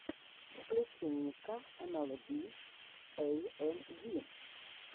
включи ника эмэлби эйэмви